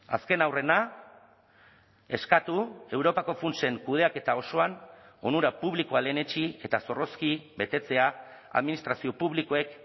azken aurrena eskatu europako funtsen kudeaketa osoan onura publikoa lehenetsi eta zorrozki betetzea administrazio publikoek